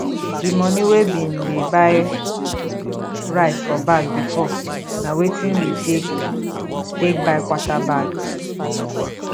di moni wey bin dey buy rice for bag before na wetin we take take buy quarter bag